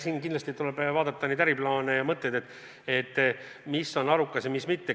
Siin kindlasti tuleb vaadata äriplaane ja mõtteid – mis on arukas ja mis mitte.